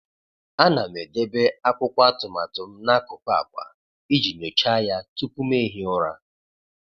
A na m edebe akwụkwọ atụmatụ m n'akụkụ akwa iji nyochaa ya tupu m ehie ụra.